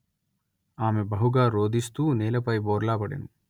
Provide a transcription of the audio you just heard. ఆమె బహుగా రోదిస్తూ నేలపై బోర్లా పడెను